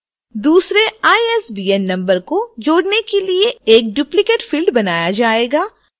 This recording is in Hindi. दूसरे isbn number को जोड़ने के लिए एक duplicate field बनाया जाएगा